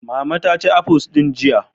Mama ta ci afuls din jiya.